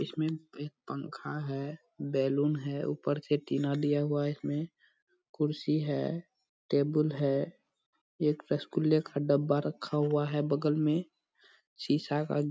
इसमें एक पंखा है बैलून है ऊपर से टीना दिया हुआ है इसमें। कुर्सी है टेबल है एक रसगुल्ले का डब्बा रखा हुआ है बगल मे शीशा का --